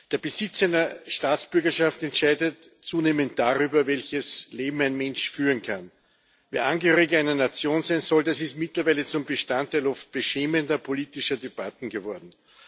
Der Besitz einer Staatsbürgerschaft entscheidet zunehmend darüber, welches Leben ein Mensch führen kann. Wer Angehöriger einer Nation sein soll, das ist mittlerweile zum Bestandteil oft beschämender politischer Debatten geworden.